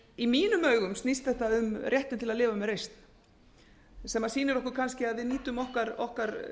í mínum augum snýst þetta um réttinn til að lifa með reisn sem sýnir okkur kannski að við nýtum okkar